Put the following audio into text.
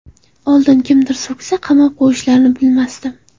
Oldin kimnidir so‘ksa qamab qo‘yishlarini bilmasdim.